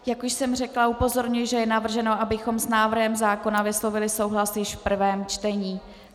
Jak už jsem řekla, upozorňuji, že je navrženo, abychom s návrhem zákona vyslovili souhlas již v prvém čtení.